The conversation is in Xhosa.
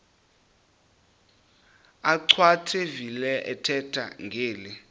achwavitilevo ethetha ngeli